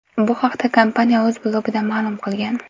Bu haqda kompaniya o‘z blogida ma’lum qilgan .